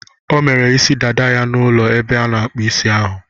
O mere isi dada ya n'ụlọ ebe ana-akpụ isi ahu.